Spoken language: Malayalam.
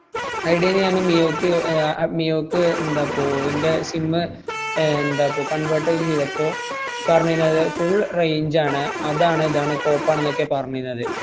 ഐഡിയേന്ന് ഞാൻ മിയോക്ക് അഹ് മിയോക്ക് എന്താപ്പോ ഇന്‍റെ sim മ് എന്താപ്പോ convert ചെയ്തപ്പോ, പറഞ്ഞിന്നത് full range ആണ് അതാണ് ഇതാണ് കോപ്പാണെന്നൊക്കെയാ പറഞ്ഞിന്നത്.